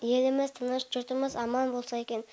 еліміз тыныш жұртымыз аман болса екен